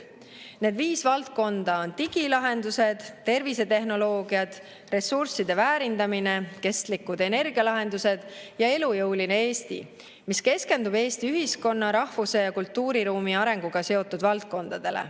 Need viis valdkonda on digilahendused, tervisetehnoloogiad, ressursside väärindamine, kestlikud energialahendused ja elujõuline Eesti, mis keskendub Eesti ühiskonna, rahvuse ja kultuuriruumi arenguga seotud valdkondadele.